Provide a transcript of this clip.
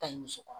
Taɲi muso kɔrɔ